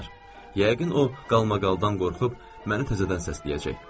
Yəqin o qarmaqaldan qorxub məni təzədən səsləyəcək.